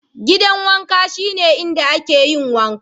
Gidan wanka shine inda muke yin wanka.